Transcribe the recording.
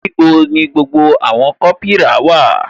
Níbo ni gbogbo àwọn kopira wà?